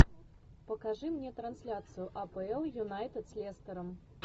покажи мне трансляцию апл юнайтед с лестером